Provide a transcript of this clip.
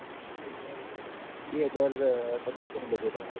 બે હજાર પચીસો નું budget હ મારું